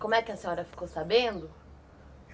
Como é que a senhora ficou sabendo?